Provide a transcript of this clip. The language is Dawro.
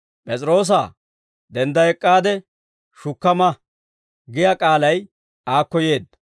«P'es'iroosaa, dendda ek'k'aade shukka ma» giyaa k'aalay aakko yeedda.